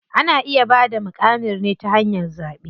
Ana iya bada muƙamin ne ta hanyar zaɓe.